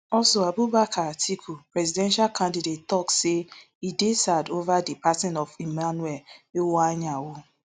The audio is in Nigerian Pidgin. also abubakar atiku presidential candidate tok say e dey sad ova di passing of emmanuel iwuanyanwu